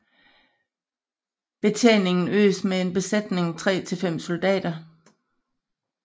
Betjeningen gøres med en besætning 3 til 5 soldater